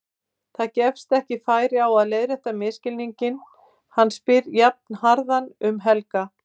Það gefst ekki færi á að leiðrétta misskilninginn, hann spyr jafnharðan um Helga.